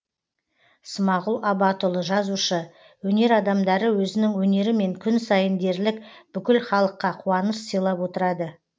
смағұл абатұлы жазушы өнер адамдары өзінің өнерімен күн сайын дерлік бүкіл халыққа қуаныш сыйлап отырады